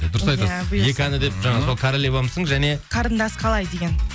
дұрыс айтасыз екі әні деп жаңағы сол королевамсың және қарындас қалай деген